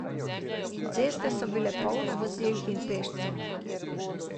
Ceste so bile polne vozil in peščev.